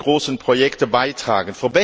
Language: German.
großen Projekte beitragen.